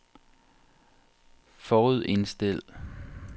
forudindstil